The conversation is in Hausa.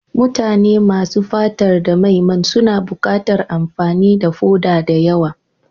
Mutane masu fatar da mai man suna buƙatar amfani da foda da yawa.